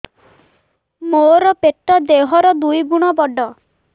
ମୋର ପେଟ ଦେହ ର ଦୁଇ ଗୁଣ ବଡ